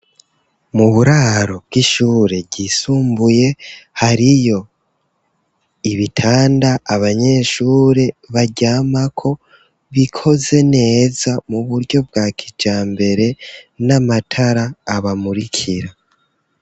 Mu buraro, bw'ishure ryisumbuye, hariyo ibitanda, abanyeshure baryamako; bikoze neza, mu buryo bwa kijambere, n'amatara abamurikira.